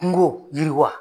Kungo yiriwa.